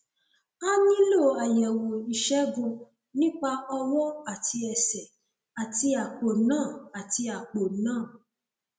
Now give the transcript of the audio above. a nílò àyẹwò ìṣègùn nípa ọwọ àti ẹsẹ àti àpò náà àti àpò náà